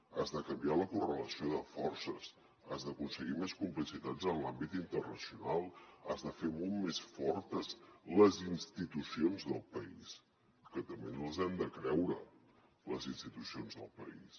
has de canviar la correlació de forces has d’aconseguir més complicitat en l’àmbit internacional has de fer molt més fortes les institucions del país que també ens les hem de creure les institucions del país